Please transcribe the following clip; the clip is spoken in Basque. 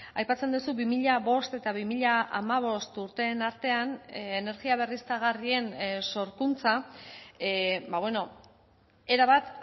aipatzen duzu bi mila bost eta bi mila hamabost urteen artean energia berriztagarrien sorkuntza era bat